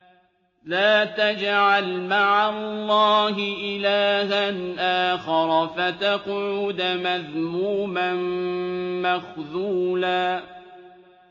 لَّا تَجْعَلْ مَعَ اللَّهِ إِلَٰهًا آخَرَ فَتَقْعُدَ مَذْمُومًا مَّخْذُولًا